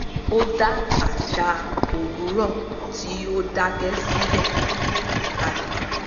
ó dá àṣà òwúrọ̀ tí ó dakẹ́ silẹ̀ kalẹ̀